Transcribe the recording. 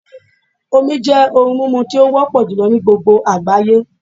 Omi jẹ́ ohùn mímu tí ó wópò jùlo ní gbogbo àgbáyé